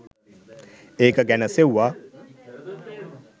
ඒක ගැන සෙවුවා.